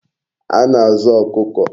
A na-azu Okuko